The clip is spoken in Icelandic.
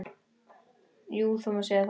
Jú, það má segja það.